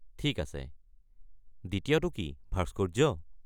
ঠিক আছে। দ্বিতীয়টো কি - ভাস্কৰ্য?